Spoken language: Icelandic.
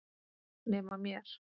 Nema mér.